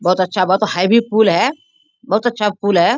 बहुत अच्छा बहुत हैवी पूल है। बहुत अच्छा पूल है।